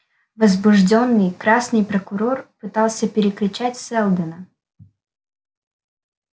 возбуждённый красный прокурор пытался перекричать сэлдона